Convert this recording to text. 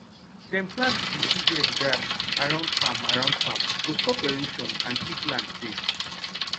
dem plant vetiver grass around farm around farm to stop erosion and keep land safe